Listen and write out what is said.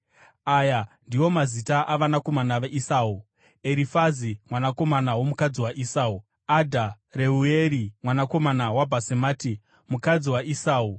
Aya ndiwo mazita avanakomana vaEsau: Erifazi, mwanakomana womukadzi waEsau, Adha, Reueri, mwanakomana waBhasemati, mukadzi waEsau.